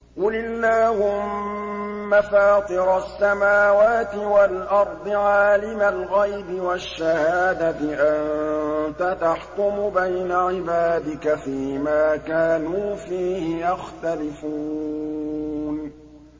قُلِ اللَّهُمَّ فَاطِرَ السَّمَاوَاتِ وَالْأَرْضِ عَالِمَ الْغَيْبِ وَالشَّهَادَةِ أَنتَ تَحْكُمُ بَيْنَ عِبَادِكَ فِي مَا كَانُوا فِيهِ يَخْتَلِفُونَ